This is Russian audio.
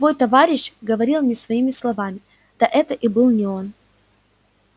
твой товарищ говорил не своими словами да это и был не он